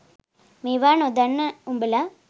මේවා නොදන්න උඹල